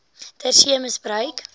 ter see misbruik